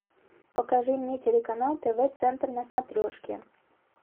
покажи мне телеканал тв центр на смотрешке